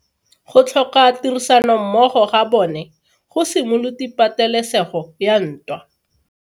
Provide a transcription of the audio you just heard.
Go tlhoka tirsanommogo ga bone go simolotse patelesego ya ntwa.